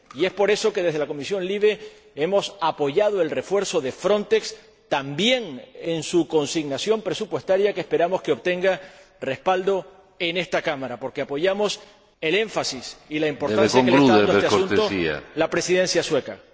Y es por eso que, desde la Comisión LIBE, hemos apoyado el refuerzo de Frontex, también en su consignación presupuestaria, que esperamos obtenga respaldo en esta Cámara, porque apoyamos el énfasis y la importancia que le está dando a este asunto la Presidencia sueca.